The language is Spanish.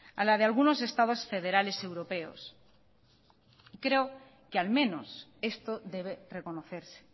a la de algunos estados federales europeos y creo que al menos esto debe reconocerse